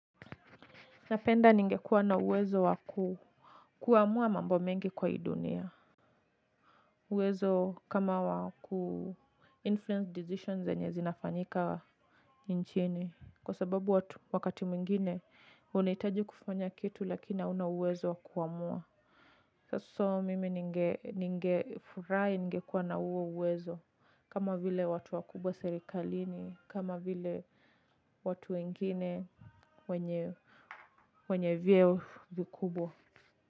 Napenda ningekuwa na uwezo waku kuamua mambo mengi kwa hii dunia. Uwezo kama waku influence decisions zenye zinafanyika nchini. Kwa sababu wakati mwingine, unahitaji kufanya kitu lakina hauna uwezo wakuamua. So mimi ninge furahi ninge kuwa na huo uwezo. Kama vile watu wakubwa serikalini. Kama vile watu wengine wenye vyeo vikubwa.